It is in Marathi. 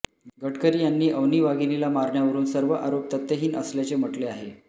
गडकरी यांनी अवनी वाघिणीला मारण्यावरून सर्व आरोप तथ्यहीन असल्याचे म्हटले आहे